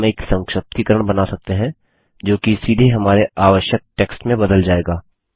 तब हम एक संक्षिप्तीकरण बना सकते हैं जोकि सीधे हमारे आवश्यक टेक्स्ट में बदल जाएगा